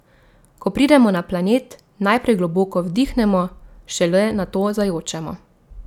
Ko pridemo na planet, najprej globoko vdihnemo, šele nato zajočemo.